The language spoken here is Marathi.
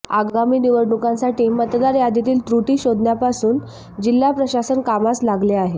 आगामी निवडणुकांसाठी मतदार यादीतील त्रुटी शोधण्यापासून जिल्हा प्रशासन कामास लागले आहे